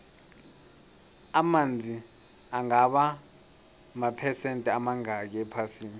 amanzi angaba maphesende amangakhi ephasini